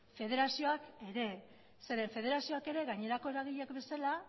federazioak ere zeren federazioak ere gainerako eragileek bezala